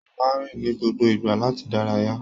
Mo máa n rìn ni gbogbo ìgbà láti dárayá.